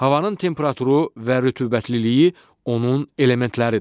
Havanın temperaturu və rütubətliliyi onun elementləridir.